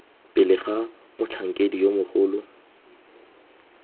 pele ga motlhankedi yo mogolo